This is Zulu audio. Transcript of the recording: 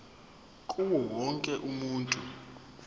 kuwo wonke umuntu